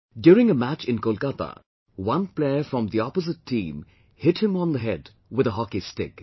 During a match in Kolkata one player from the opposite team hit him on the head with the hockey stick